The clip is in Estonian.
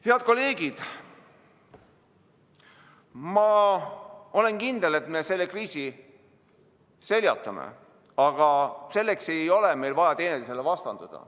Head kolleegid, ma olen kindel, et me selle kriisi seljatame, aga selleks ei ole meil vaja teineteisele vastanduda.